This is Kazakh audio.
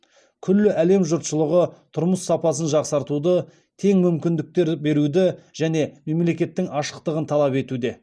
күллі әлем жұртшылығы тұрмыс сапасын жақсартуды тең мүмкіндіктер беруді және мемлекеттің ашықтығын талап етуде